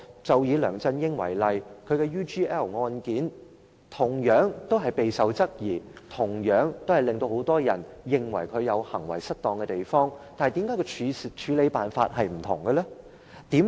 就以梁振英為例，他的 UGL 案件同樣備受質疑，同樣令很多人認為他行為失當，但為何處理辦法有所分別？